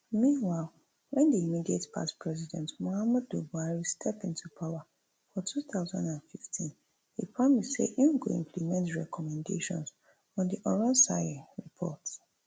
meanwhile wen di immediate past president muhammadu buhari step into power for two thousand and fifteen e promise say im go implement di recommendations on di oronsaye report